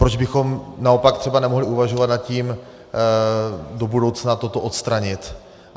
Proč bychom naopak třeba nemohli uvažovat nad tím do budoucna toto odstranit?